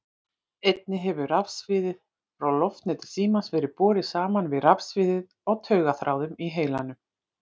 Einnig hefur rafsviðið frá loftneti símans verið borið saman við rafsviðið á taugaþráðum í heilanum.